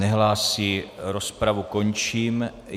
Nehlásí, rozpravu končím.